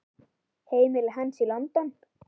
Heimili hans er í London.